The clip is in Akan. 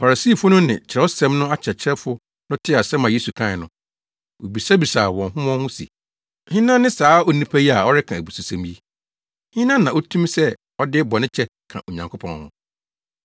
Farisifo no ne Kyerɛwsɛm no akyerɛkyerɛfo no tee asɛm a Yesu kae no, wobisabisaa wɔn ho wɔn ho se, “Hena ne saa onipa yi a ɔreka abususɛm yi? Hena na otumi sɛ ɔde bɔne kyɛ ka Onyankopɔn ho?”